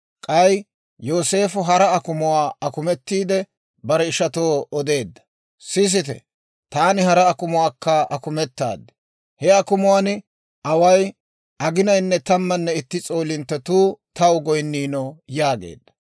K'ay Yooseefo hara akumuwaa akumetiide, bare ishatoo odeedda; «sisite; taani hara akumuwaakka akumetaad. He akumuwaan away, aginaynne tammanne itti s'oolinttetuu taw goynniino» yaageedda.